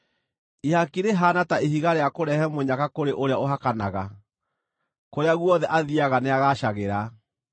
Ihaki rĩhaana ta ihiga rĩa kũrehe mũnyaka kũrĩ ũrĩa ũhakanaga; kũrĩa guothe athiiaga nĩagaacagĩra.